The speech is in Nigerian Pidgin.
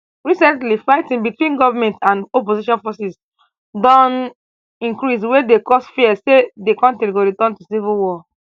recently fighting between goment and opposition forces don increase wey dey cause fears say di kontri go return to civil war